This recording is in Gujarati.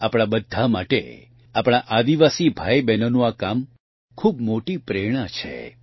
આપણા બધા માટે આપણા આદિવાસી ભાઇબહેનોનું આ કામ ખૂબ મોટી પ્રેરણા છે